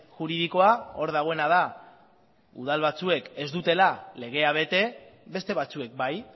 juridikoa hor dagoena da udal batzuek ez dutela legea bete beste batzuek bai